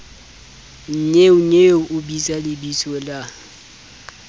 nnyeonyeo o bitsa lebitso la